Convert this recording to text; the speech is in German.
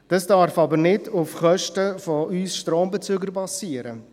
Das darf aber nicht auf Kosten von uns Strombezügern geschehen.